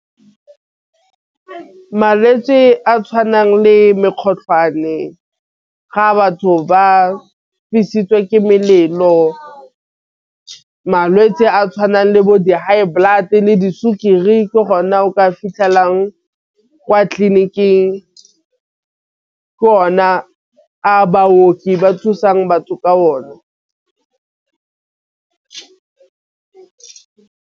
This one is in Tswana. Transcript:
Malwetse a tšhwanang le mokgotlhwane ga batho ba fisitswe ke melelo malwetse a tšhwanang le bo di-high blood le di sukiri, ke ona o ka e fitlhelang kwa tleliniking ke one a baoki ba thusang batho ka o ne.